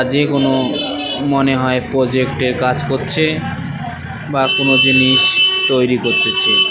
যেকোনো মনে হয় প্রোজেক্টের কাজ করছে বা কোন জিনিস তৈরি করতেছে।